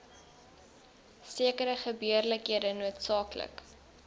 sekere gebeurlikhede noodsaaklik